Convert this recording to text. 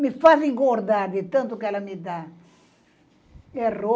Me faz engordar de tanto que ela me dá.